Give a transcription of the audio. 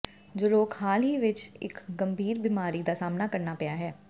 ਜੋ ਲੋਕ ਹਾਲ ਹੀ ਵਿੱਚ ਇੱਕ ਗੰਭੀਰ ਬੀਮਾਰੀ ਦਾ ਸਾਹਮਣਾ ਕਰਨਾ ਪਿਆ ਹੈ